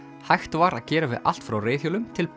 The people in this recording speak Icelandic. hægt var að gera við allt frá reiðhjólum til